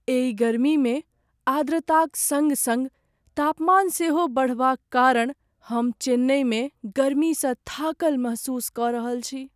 एहि गर्मीमे आर्द्रताक सङ्ग सङ्ग तापमान सेहो बढ़बाक कारण हम चेन्नइमे गर्मीसँ थाकल महसूस कऽ रहल छी।